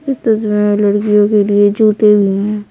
इस तस्वीर में लड़कियों के लिए जूते भी हैं।